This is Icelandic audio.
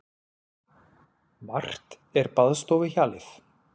Margt er baðstofuhjalið.